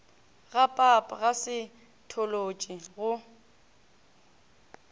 ga pap ga saetholotši go